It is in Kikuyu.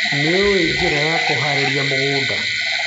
Nĩũĩ njĩra ya kũharĩrĩria mũgũnda.